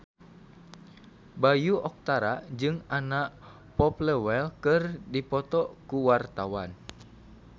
Bayu Octara jeung Anna Popplewell keur dipoto ku wartawan